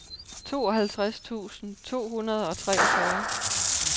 tooghalvtreds tusind to hundrede og treogfyrre